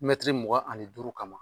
Mɛtiri mugan ani duuru kama